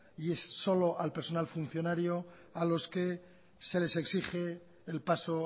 y solo al personal funcionario a los que se les exige el paso